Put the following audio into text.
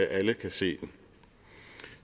alle kan se den